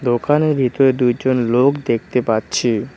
ওখানে ভিতরে দুইজন লোক দেখতে পাচ্ছি।